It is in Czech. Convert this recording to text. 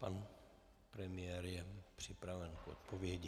Pan premiér je připraven k odpovědi.